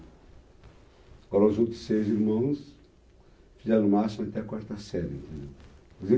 Agora, os outros seis irmãos fizeram o máximo até a quarta série.